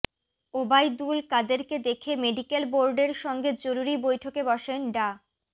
ওবায়দুল কাদেরকে দেখে মেডিকেল বোর্ডের সঙ্গে জরুরি বৈঠকে বসেন ডা